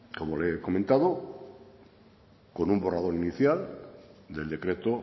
como le he comentado con un borrador inicial del decreto